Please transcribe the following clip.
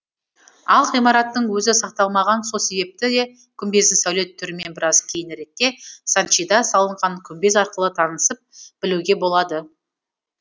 ал ғимараттың өзі сақталмаған сол себепті де күмбездің сәулет түрімен біраз кейініректе санчида салынған күмбез арқылы танысып білуге болады